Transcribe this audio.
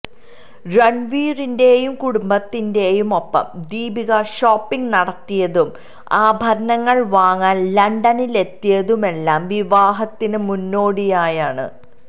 രണ്വീറിന്റെയും കുടുംബത്തിന്റെയും ഒപ്പം ദീപിക ഷോപ്പിങ് നടത്തിയതും ആഭരണങ്ങള് വാങ്ങാന് ലണ്ടനിലെത്തിയതുമെല്ലാം വിവാഹത്തിന് മുന്നോടിയായാണ്